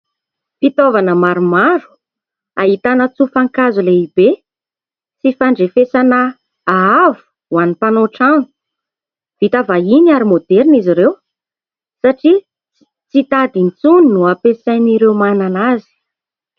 Fitaovana maromaro ahitana tsofan-kazo lehibe sy fandrefesana haavo ho an'ny mpanao trano. Vita vahiny ary maoderina izy ireo satria tsy tady intsony no ampiasain'ireo manana azy.